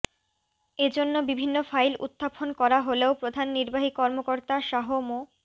এজন্য বিভিন্ন ফাইল উত্থাপন করা হলেও প্রধান নির্বাহী কর্মকর্তা শাহ মো